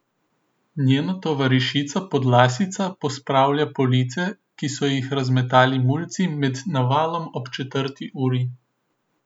Njena tovarišica podlasica pospravlja police, ki so jih razmetali mulci med navalom ob četrti uri.